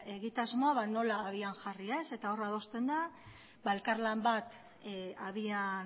egitasmoa nola abian jarri eta hor adosten da elkarlan bat abian